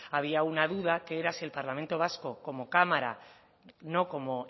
había una duda que era si el parlamento vasco como cámara no como